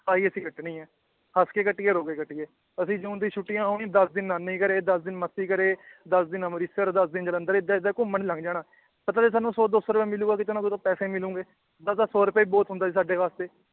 ਆਹੀ ਇਥੇ ਕੱਟਣੀ ਏ ਹੱਸ ਕੇ ਕੱਟੀਏ ਰੋ ਕੇ ਕੱਟੀਏ ਅਸੀ ਜੂਨ ਦੀ ਛੁੱਟੀਆਂ ਆਉਣੀ ਦੱਸ ਦਿਨ ਨਾਨੀ ਘਰੇ ਦੱਸ ਦਿਨ ਮਾਸੀ ਘਰੇ ਦੱਸ ਦਿਨ ਅਮ੍ਰਿਤਸਰ ਦੱਸ ਦਿਨ ਜਲੰਧਰ ਏਦਾਂ ਏਦਾਂ ਘੁੰਮਣ ਲੰਘ ਜਾਣਾ ਪਤਾ ਸੀ ਸਾਨੂੰ ਸੌ ਦੋ ਸੌ ਰੁਪਯਾ ਮਿਲੂਗਾ ਕੀਤੋ ਨਾ ਕਿਤੋਂ ਪੈਸੇ ਮਿਲੂੰਗੇ ਓਦੋਂ ਤਾਂ ਸੌ ਰੁਪਏ ਬਹੁਤ ਹੁੰਦਾ ਸੀ ਸਾਡੇ ਵਾਸਤੇ